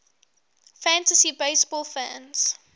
fantasy baseball fans